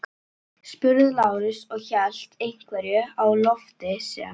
spurði Lárus og hélt einhverju á lofti sem